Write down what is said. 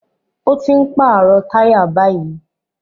Ó ti ń pàrọ̀ táyà báyìí